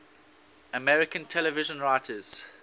american television writers